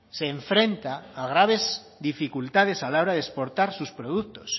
se enfrenta a graves dificultades a la hora de exportar sus productos